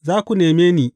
Za ku neme ni.